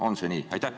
On see nii?